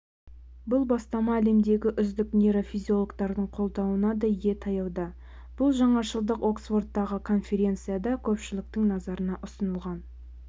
бұл бастама әлемдегі үздік нейрофизиологтардың қолдауына да ие таяуда бұл жаңашылдық оксфордтағы конференцияда көпшіліктің назарына ұсынылған